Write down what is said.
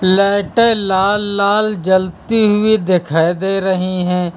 लाइटें लाल लाल जलती हुई दिखाई दे रही हैं।